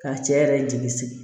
Ka cɛ yɛrɛ jigi sigi